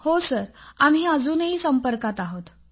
हो सर आम्ही अजूनही संपर्कात आहोत